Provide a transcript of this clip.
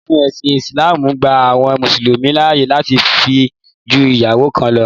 Òfin ẹ̀sìn ìsìlámù gba àwọn mùsùlùmí láàyè láti fẹ́ ju ìyàwó kan lọ.